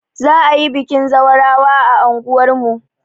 Za'a yi bikin zawarawa a anguwar mu.